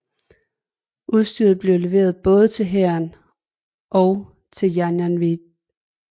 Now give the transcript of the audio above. Udstyret blev leveret både til hæren og til janjaweed